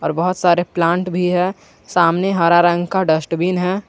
बहोत सारे प्लांट भी है सामने हरा रंग का डस्टबिन है।